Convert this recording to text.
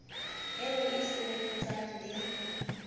eo e e sebelletsang le